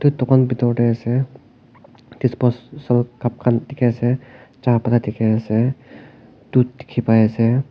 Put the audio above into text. dukan bitor tae ase disposal cup khan dikhiase chaha pata dikhiase dhut dikhipaiase.